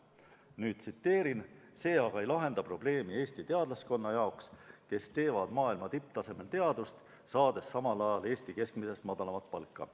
Nüüd tsiteerin: "See aga ei lahenda probleemi Eesti teadlaskonna jaoks, kes teevad maailma tipptasemel teadust, saades samal ajal Eesti keskmisest madalamat palka.